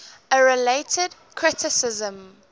a related criticism